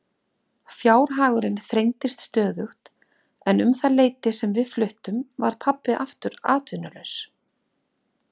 Fjárhagurinn þrengdist stöðugt en um það leyti sem við fluttum varð pabbi aftur atvinnulaus.